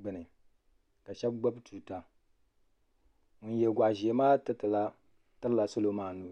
gbuni ka shab gbubi tuuta ŋyn yɛ goɣa ʒiɛ maa tirila salo maa nuu